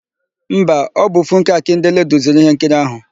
Mba, ọ bụ Funke Akindele duziri íhénkiri áhụ̀.